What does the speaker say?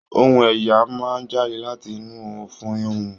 Ohùn èèyàn máa n jáde láti inú ọfun ohùn.